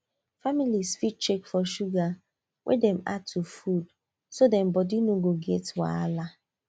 family fit check for sugar wey dem add to food so dem body no go get wahala